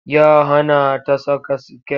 Ya hana ta saka skirt.